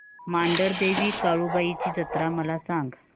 मांढरदेवी काळुबाई ची जत्रा मला सांग